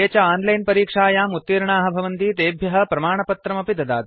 ये च आनलैन परीक्षायां उत्तीर्णाः भवन्ति तेभ्यः प्रमाणपत्रमपि ददाति